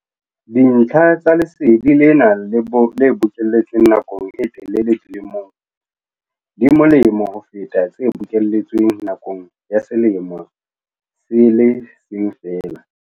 Dintlha tsa lesedi lena le bokelletsweng nakong e telele di molemo ho feta tse bokelletsweng nakong ya selemo se le seng feela.